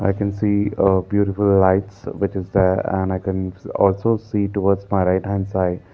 i can see a beautiful lights which is there and i can also see towards my right hand side.